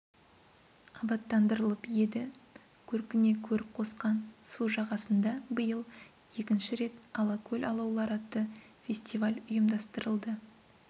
абаттандырылып еді көркіне көрік қосқан су жағасында биыл екінші рет алакөл алаулары атты фестиваль ұйымдастырылды